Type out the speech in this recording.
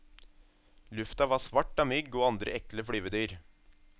Lufta var svart av mygg og andre ekle flyvedyr.